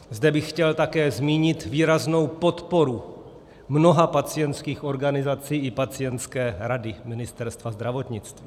Zde bych chtěl také zmínit výraznou podporu mnoha pacientských organizací i Pacientské rady Ministerstva zdravotnictví.